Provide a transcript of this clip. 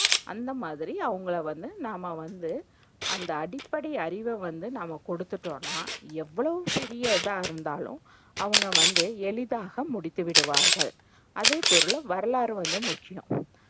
அந்தமாதிரி அவங்கள வந்து நாம்ம வந்து அந்த அடிப்படை அறிவ வந்து நாம்ம குடுத்துட்டோம்னா, எவ்வளவு பெரிய இதாஇருந்தாலும் அவங்க வந்து எளிதாக முடித்துவிடுவார்கள். அதேபோல, வரலாறு ரொம்ப முக்கியம்.